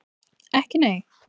Ekki nei?